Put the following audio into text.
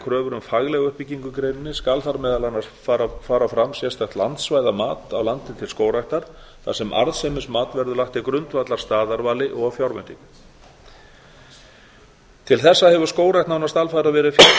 kröfur um faglega uppbyggingu í greininni skal þar meðal annars fara fram sérstakt landsvæðamat á landi til skógræktar þar sem arðsemismat verður lagt til grundvallar staðarvali og fjárveitingum til þessa hefur skógrækt nánast alfarið verið fjármögnuð